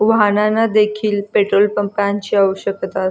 वाहनाना देखील पेट्रोल पंपां ची आवश्यकता --